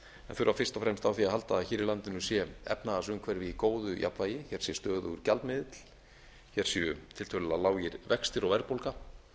þurfa fyrst og fremst á því að halda að hér í landinu sé efnahagsumhverfi í góðu jafnvægi hér séu tiltölulega lágir vextir og verðbólga